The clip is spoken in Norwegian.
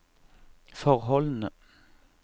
forholdene